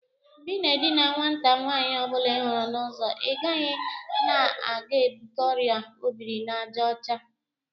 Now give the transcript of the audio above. Mgbe i na edina nwata nwaanyi ọ bụla ihuru n'uzo, ị maghị na ị ga-ebute Ọrịa obiri-na-aja ocha?